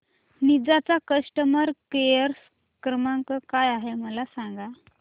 Ninja चा customer care क्रमांक काय आहे मला सांगा